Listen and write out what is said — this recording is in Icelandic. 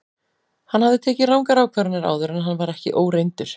Hann hafði tekið rangar ákvarðanir áður en hann var ekki óreyndur.